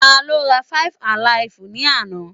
Tá ló rá five-alaifu ni àna?